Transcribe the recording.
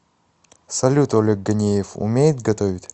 салют олег ганеев умеет готовить